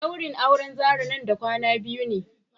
daurin auren Zarah nan da kwana biyu ne.